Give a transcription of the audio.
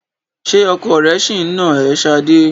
Ṣé ọkọ rẹ ṣì ń nà ẹ́ Sadé?